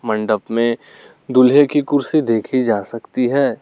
मंडप में दूल्हे की कुर्सी देखी जा सकती है।